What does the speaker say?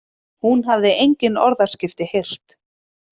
Hún hafði engin orðaskipti heyrt.